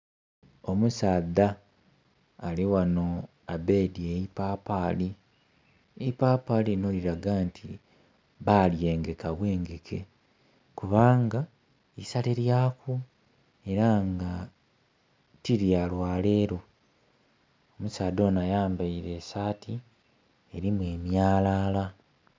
Omusaadha ali ghano abeedye eipapaali, eipapaali lino lilaga nti balyengeka bwengeke kubanga isale lyaku era nga tilyalwalero. Omusaadha onho ayambaile esaati erimu emyalala.